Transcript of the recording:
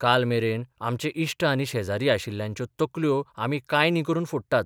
काल मेरेन आमचे इश्ट आनी शेजारी आशिल्ल्यांच्यो तकल्यो आमी कांय न्ही करून फोडटात.